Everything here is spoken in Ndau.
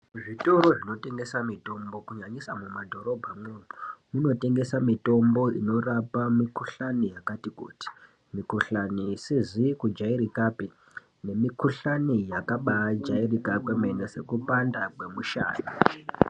Zvitoro zvinotengeswa mitombo kunyanyisa mumadhorobhamwo zvinotengesa mitombo inorapa mikuhlani yakati kuti mukuhlani isizi kujairikapi nemikuhlani yakabajairika kwemene sekupanda kwemushana.